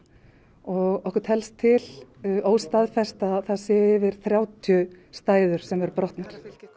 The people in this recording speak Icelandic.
okkur telst til óstaðfest að það séu yfir þrjátíu stæður sem eru brotnar